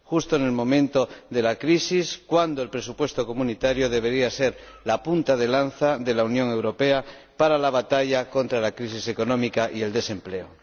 justo en el momento de la crisis en que el presupuesto comunitario debería ser la punta de lanza de la Unión Europea en la batalla contra la crisis económica y el desempleo.